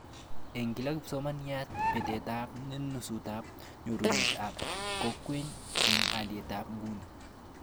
Eng kila kipsomaniat betetab nusutab nyorunet ab koykeny eng alitab nguni